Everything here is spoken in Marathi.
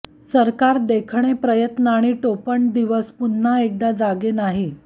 सरकार देखणे प्रयत्न आणि टोपण दिवस पुन्हा एकदा जागे नाही